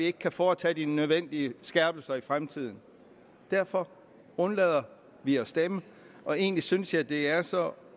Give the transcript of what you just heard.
ikke kan foretages de nødvendige skærpelser i fremtiden derfor undlader vi at stemme og egentlig synes jeg det er så